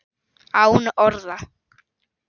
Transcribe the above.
Án orða.